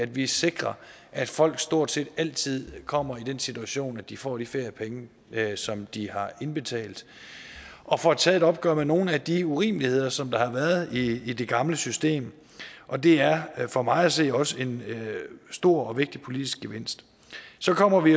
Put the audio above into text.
vi sikrer at folk stort set altid kommer i den situation at de får de feriepenge som de har indbetalt og får taget et opgør med nogle af de urimeligheder som der har været i det gamle system og det er er for mig at se også en stor og vigtig politisk gevinst så kommer vi